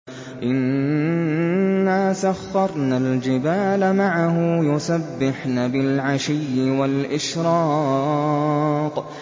إِنَّا سَخَّرْنَا الْجِبَالَ مَعَهُ يُسَبِّحْنَ بِالْعَشِيِّ وَالْإِشْرَاقِ